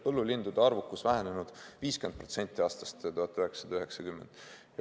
Põllulindude arvukus on vähenenud 50% aastast 1990.